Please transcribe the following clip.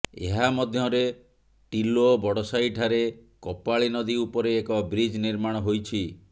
ଏହା ମଧ୍ୟରେ ଟିଲୋ ବଡସାହି ଠାରେ କପାଳୀ ନଦୀ ଉପରେ ଏକ ବ୍ରିଜ୍ ନିର୍ମାଣ ହୋଇଛି